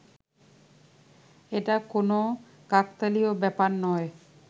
এটা কোনও কাকতালীয় ব্যাপার নয়